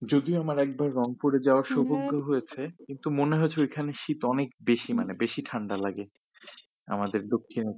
যদিও আমার একবার রংপুরে যাওয়ার সৌভাগ্য হয়েছে কিন্তু মনে হয় যে ঐখানে শীত অনেক বেশি মানে বেশি ঠান্ডা লাগে আমাদের দক্ষিণে